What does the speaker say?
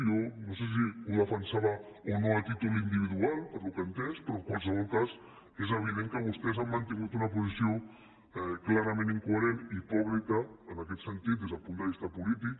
jo no sé si ho defensava o no a títol individual pel que he entès però en qualsevol cas és evident que vostès han mantingut una posició clarament incoherent hipòcrita en aquest sentit des del punt de vista polític